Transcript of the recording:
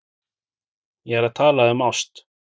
Ég er að tala um ást.